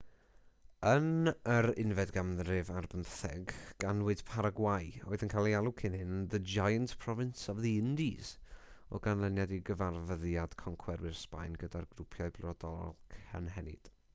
yn yr 16eg ganrif ganwyd paragwâi oedd yn cael ei alw cyn hyn yn the giant province of the indies o ganlyniad i gyfarfyddiad concwerwyr sbaen gyda'r grwpiau brodorol cynhenid